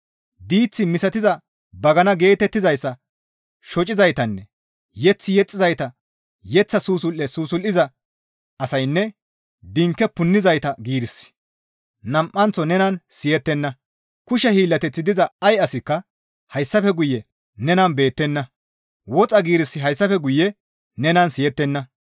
Diith misatiza bagana geetettizayssa shocizaytanne mazamure yexxizayta yeththa susul7e susul7iza asaynne dinke punnizayta giirissi nam7anththo nenan siyettenna; kushe hiillateththi diza ay asikka hayssafe guye nenan beettenna; woxa giirissi hayssafe guye nenan siyettenna.